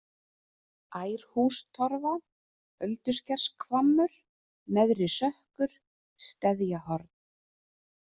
Ærhústorfa, Ölduskershvammur, Neðri-Sökkur, Steðjahorn